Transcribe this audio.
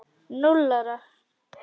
Núll ára!